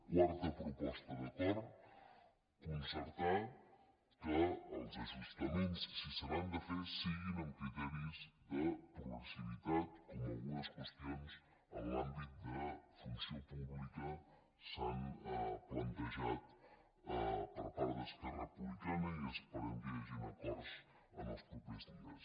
quarta proposta d’acord concertar que els ajustaments si se n’han de fer siguin amb criteris de progressivitat com en algunes qüestions en l’àmbit de funció pública s’han plantejat per part d’esquerra republicana i esperem que hi hagin acords en els propers dies